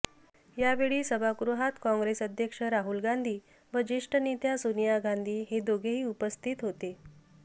यावेळी सभागृहात काँग्रेस अध्यक्ष राहुल गांधी व ज्येष्ठ नेत्या सोनिया गांधी हे दोघेही उपस्थित होते